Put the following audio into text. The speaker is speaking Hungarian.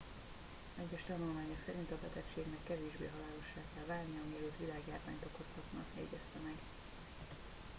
egyes tanulmányok szerint a betegségnek kevésbé halálossá kell válnia mielőtt világjárványt okozhatna jegyezte meg